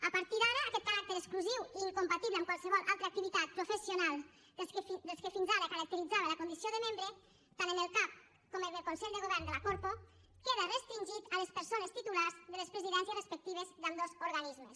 a partir d’ara aquest caràcter exclusiu i incompatible amb qualsevol altra activitat professional que fins ara caracteritzava la condició de membre tant en el cac com en el consell de govern de la corpo queda restringit a les persones titulars de les presidències respectives d’ambdós organismes